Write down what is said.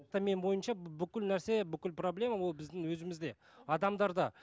менің ойымша бүкіл нәрсе бүкіл проблема ол біздің өзімізде адамдарда